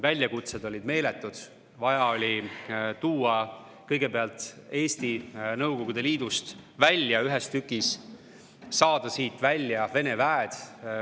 Väljakutsed olid meeletud, vaja oli kõigepealt Eesti tuua Nõukogude Liidust välja ühes tükis, saada siit välja Vene väed.